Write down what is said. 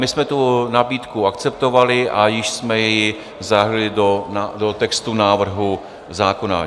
My jsme tu nabídku akceptovali a již jsme ji zahrnuli do textu návrhu zákona.